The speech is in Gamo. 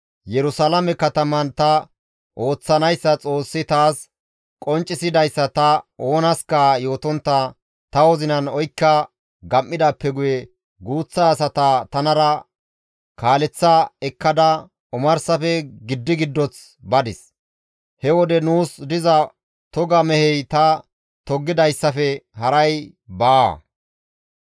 Yerusalaame kataman ta ooththanayssa Xoossi taas qonccisidayssa ta oonaska yootontta ta wozinan oykka gam7idaappe guye guuththa asata tanara kaaleththa ekkada omarsafe giddi giddoth badis; he wode nuus diza toga mehey ta toggidayssafe haray baawa.